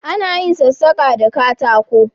A na yin sassake da katako